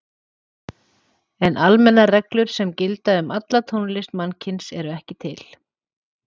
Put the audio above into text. En almennar reglur sem gildi um alla tónlist mannkynsins eru ekki til.